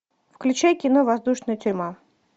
включай кино воздушная тюрьма